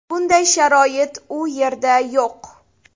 Bunday sharoit u yerda yo‘q.